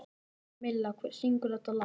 Milla, hver syngur þetta lag?